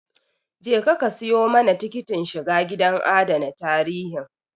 Je ka ka siyo mana tikitin shiga gidan adana tarihin